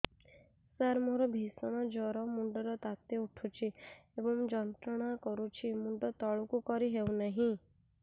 ସାର ମୋର ଭୀଷଣ ଜ୍ଵର ମୁଣ୍ଡ ର ତାତି ଉଠୁଛି ଏବଂ ଯନ୍ତ୍ରଣା କରୁଛି ମୁଣ୍ଡ ତଳକୁ କରି ହେଉନାହିଁ